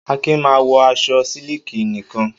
Akin máa ń wọ aṣọ sílíkì nìkan.